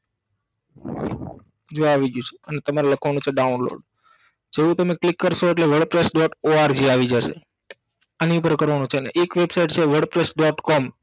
જો આવી ગયું છે અને તમારે લખવાનું છે download જેવુ તમે click કરસો એટલે word press dot org આવી જાશે આની ઉપર કરવાનું છે ને એક website છે word presa dot com